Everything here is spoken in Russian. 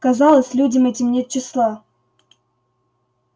казалось людям этим нет числа